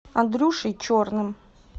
андрюшей черным